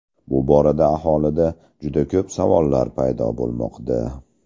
Bu borada aholida juda ko‘p savollar paydo bo‘lmoqda.